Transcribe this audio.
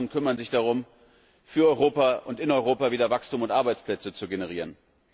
Alle anderen kümmern sich darum, für Europa und in Europa wieder Wachstum und Arbeitsplätze zu generieren.